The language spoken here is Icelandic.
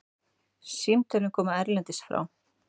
Símtölin koma erlendis frá.